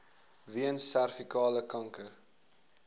weens servikale kanker